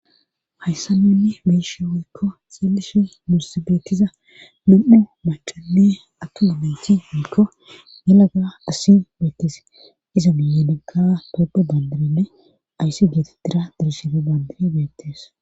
hayssan nuni be7ishe woykko xeelishe nussi beetiza nam7u maacanne attuma natikko yelaga asi beettes iza miyenika tophe bandirinne ayssi geetidira dirshefe bandiri beettees